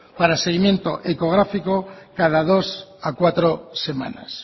para seguimiento ecográfico cada dos a cuatro semanas